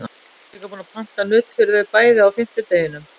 Hún var líka búin að panta nudd fyrir þau bæði á fimmtudeginum.